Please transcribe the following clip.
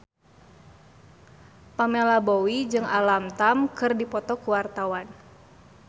Pamela Bowie jeung Alam Tam keur dipoto ku wartawan